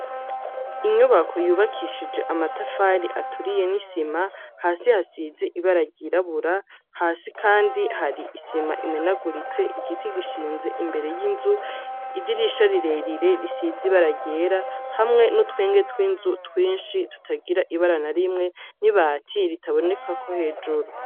Inyubako yubakishije amatafari aturiye n’isima hasi hasize ibara ry’irabura, hasi kandi hari isima imenaguritse igiti gishinze imbere y’inzu idirisha rirerire risize ibara ryera hamwe n’utwenge twinzu twinshi tutagira ibara na rimwe n’ibati